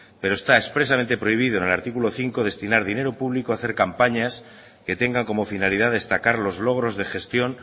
pero está expresamente prohibido en el artículo cinco destinar dinero público a hacer campañas que tenga como finalidad destacar los logros de gestión